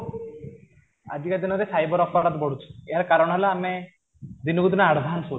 ଆଜିକା ଦିନରେ ସାଇବର ବଢୁଛି, ଏହାର କାରଣ ହେଲା ଆମେ ଦିନକୁ ଦିନ ଆଡ଼ଭାନ୍ସ ହଉଛେ